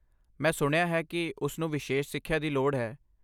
ਮੈਂ ਸੁਣਿਆ ਹੈ ਕਿ ਉਸਨੂੰ ਵਿਸ਼ੇਸ਼ ਸਿੱਖਿਆ ਦੀ ਲੋੜ ਹੈ।